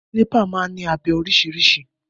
Kílípà máa ń ní abẹ oríṣìíríṣìí.